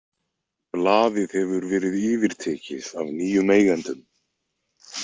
Blaðið hefur verið yfirtekið af nýjum eigendum.